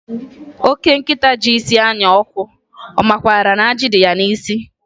Oke nkịta ji isi anya ọkụ, ọ makwaara na ajị dị ya n'isi?